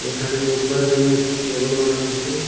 এখানে বসবার জন্য একটি টেবিল বানাইছে।